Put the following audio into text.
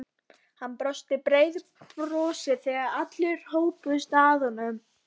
Hann brosti breiðu brosi þegar allir hópuðust að honum.